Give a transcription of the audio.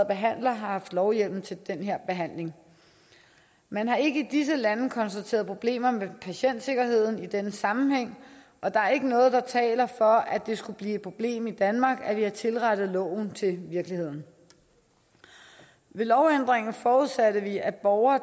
behandlere har haft lovhjemmel til den her behandling man har ikke i disse lande konstateret problemer med patientsikkerheden i denne sammenhæng og der er ikke noget der taler for at det skulle blive et problem i danmark at vi har tilrettet loven til virkeligheden med lovændringen forudsatte vi at borgere